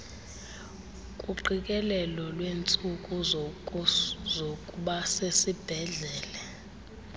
kuqikelelo lweentsuku zokubasesibhedlele